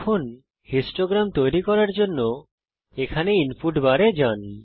এখন বারলেখ হিস্টোগ্রাম তৈরি করার জন্যে এখানে ইনপুট বার এ যান